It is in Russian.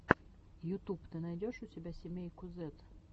ютуб ты найдешь у себя семейку зэд